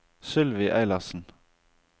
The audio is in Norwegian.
Sylvi Eilertsen